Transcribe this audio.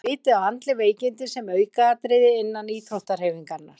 Er litið á andleg veikindi sem aukaatriði innan íþróttahreyfingarinnar?